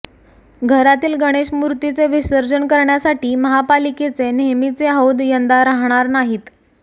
घरातील गणेश मूर्तीचे विसर्जन करण्यासाठी महापालिकेचे नेहमीचे हौद यंदा राहणार नाहीत